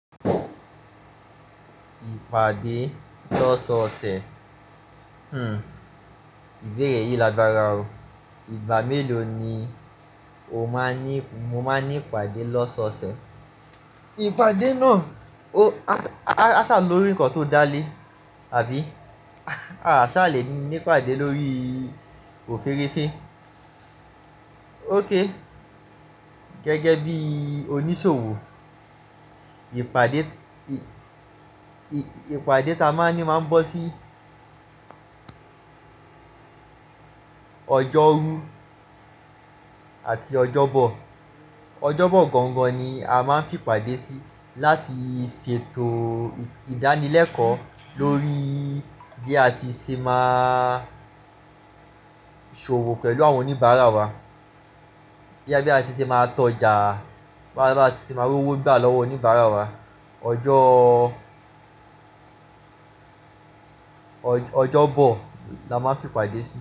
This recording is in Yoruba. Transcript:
Ìpàdé lọ́sọ̀ọ̀sẹ̀, ìbéèrè yìí lágbára o. Ìgbà mélòó ni o máa n ní, mo máa n ní ìpàdé lọ́sọ̀ọ̀sẹ̀? Ìpàdé náà, o-a-a aṣà lòrí ǹnkan tó dá lé àbí? A ṣà lè ní ìpàdé lórí òféréfé. Ók, gẹ́gẹ́ bí oníṣòwò, ìpàdé, ì-ìpàdé ta máa ń ní máa ń bọ́ sí ọjọ́rú àti ọjọ́bọ̀. Ọjọ́bọ̀ gangan ni a máa ń fi ìpàdé sí láti ṣètò ìdánilẹ́kọ̀ọ́ lórí bí a ti ṣe máa ṣòwò pẹ̀lú àwọn oníbàárà wa, bí a ti ṣe máa tọ́ ọjà, bá ti ṣe máa rowó gbà lọ́wọ́ oníbàárà wa. Ọjọ́, ọjọ́bọ̀ la máa ń fi ìpàdé sí.